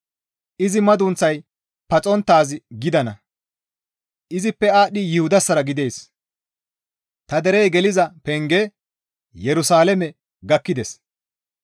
Izi madunththay paxonttaaz gidana; izippe aadhdhi Yuhudassara gidana; ta derey geliza penge Yerusalaame gakkides.